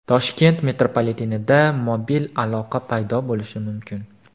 Toshkent metropolitenida mobil aloqa paydo bo‘lishi mumkin .